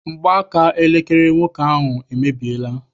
Mgbaaka elekere nwoke ahụ emebiela.